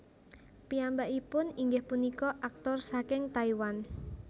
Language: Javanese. Piyambakipun inggih punika aktor saking Taiwan